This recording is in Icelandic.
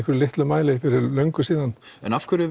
litlum mæli fyrir löngu síðan en af hverju